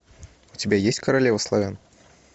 у тебя есть королева славян